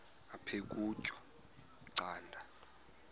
aphek ukutya canda